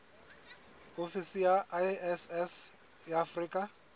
ofisi ya iss ya afrika